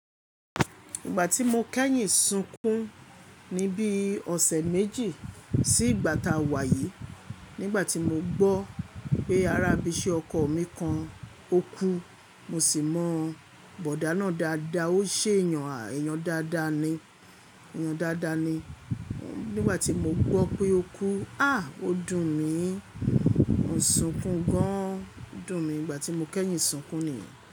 Ìgbà tí mo kẹ́yìn sunkún ní bí ọ̀sẹ̀ méjì sí ìgbà tá a wà yìí, nígbà tí mo gbọ́ pé ará ibiṣẹ́ ọkọ mi kan ó kú, mo sì mọ bọ̀dá náà dáadáa, ó ṣe eyan eyan daada ni. Èyàn dáadáa ni, nígbà tí mo gbọ́ pé ó kú, à! Ó dùn mí, mo n sunkún gan, ó dùn mí ìgbà tí mo kẹ́yìn sunkún nìyẹn.